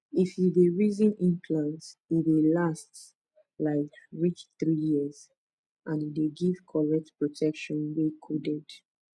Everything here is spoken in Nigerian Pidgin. if you dey reason implant e dey last um reach three years and e dey give correct protection wey coded